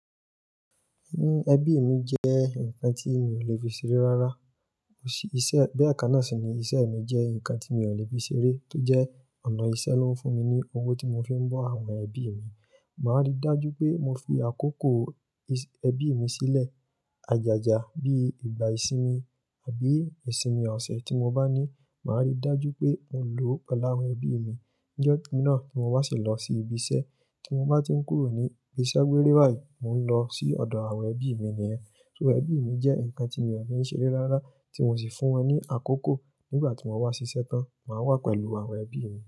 Ẹbí mi jẹ́ ǹkan tí mi ò le fi ṣeré rárá. Bí àká náà ṣe ní isẹ́ mi jẹ́ ǹkan tí mi ò le fi ṣeré tó jẹ́ ọ̀nà isẹ́ ló ń fún mi ní owó tí mo fi ń bọ́ àwọn ẹbí mi. Màá rí dájú pé mo fi àkókò ẹbí mi sílẹ̀. Àjàjà bí ìgbà ìsinmi àbí ìsinmi ọ̀sẹ̀ tí mo bá ní, màá rí dájú pé mo lo pelu awon ẹbí mi. Njọ́ náà tí mo bá sì lọ sí ibi isẹ́, tí mo bá tí ń kúrò ní ibi iṣẹ́ gbééré báyìí, mò ń lọ sí ọ̀dọ̀ àwọn ẹbí mi nìyẹn. So ẹbí mi jẹ́ ǹkan tí mi ò fi ń ṣeré rárá tí mo sì fún wọn ní àkókò nígbà tí mo wá síṣẹ́ tán, màá wà pẹ̀lú àwọn ẹbí mi.